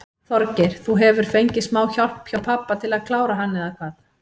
Þorgeir: Þú hefur fengið smá hjálp hjá pabba til að klára hann eða hvað?